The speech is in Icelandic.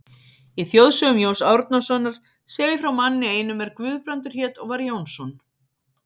Í þjóðsögum Jóns Árnasonar segir frá manni einum er Guðbrandur hét og var Jónsson.